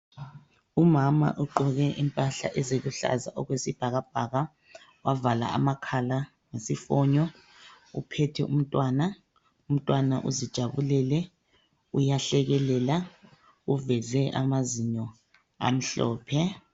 Umama ogqoke impahla eziluhlaza okwesibhakabhaka. Wavala amakhala ngesifonyo. Uphethe umntwana. Umntwana uzijabulele. Uyahlekelela. Uveze amazinyo, amhlophe.